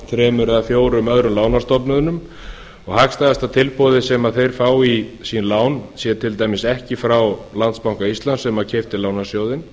þremur eða fjórum öðrum lánastofnunum og hagstæðasta tilboðið sem þeir fá í sín lán sé til dæmis ekki frá landsbanka íslands sem keypti lánasjóðinn